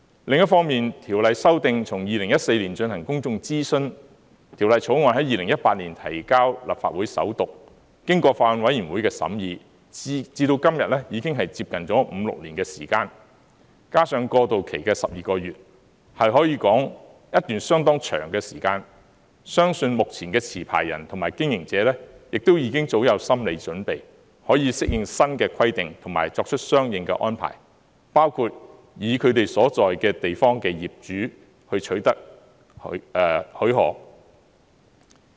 另一方面，《條例》修訂從2014年進行公眾諮詢，《條例草案》在2018年提交立法會首讀，經過法案委員會的審議至今，已經接近五六年，加上過渡期的12個月，可說是一段相當長的時間，相信目前的持牌人及經營者，亦已經早有心理準備，可以適應新的規定及作出相應安排，包括從他們所在的地方的業主方面取得許可。